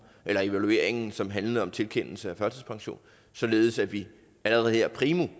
evalueringen som handlede om tilkendelse af førtidspension således at vi allerede her primo